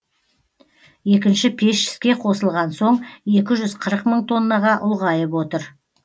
екінші пеш іске қосылған соң екі жүз қырық мың тоннаға ұлғайып отыр